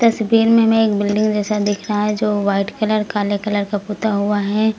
तस्वीर में हमें एक बिल्डिंग जैसा दिख रहा है जो वाइट कलर काले कलर का पोता हुआ है।